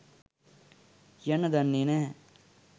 කියන්න දන්නේ නැහැ..